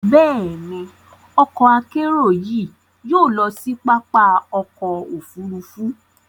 Bẹ́ẹ̀ni, ọkọ-akerò yìí yóò lọ sí pápá ọkọ̀ òfurufú